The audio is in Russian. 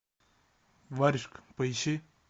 варежка поищи